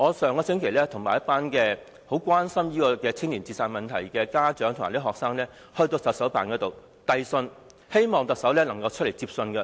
上星期，我與一群很關心青年自殺問題的家長和學生到行政長官辦公室呈交信件，希望特首出來接收。